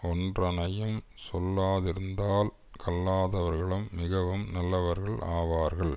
ஒன்றனையும் சொல்லாதிருந்தால் கல்லாதவர்களும் மிகவும் நல்லவர்கள் ஆவார்கள்